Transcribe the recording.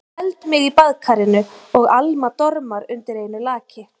Ég held mig í baðkarinu og Alma dormar undir einu laki.